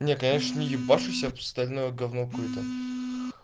не конечно ебашу себе пристального говно какое-то